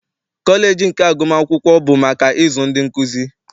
Kọleji nke agụmakwụkwọ bụ maka ịzụ ndị nkuzi.